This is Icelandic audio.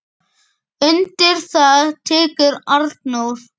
Undir það tekur Arnór.